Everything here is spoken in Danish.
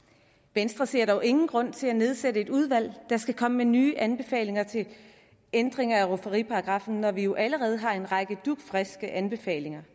venstre ser dog ingen grund til at nedsætte et udvalg der skal komme med nye anbefalinger til ændringer af rufferiparagraffen når vi jo allerede har en række dugfriske anbefalinger